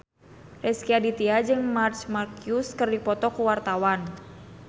Rezky Aditya jeung Marc Marquez keur dipoto ku wartawan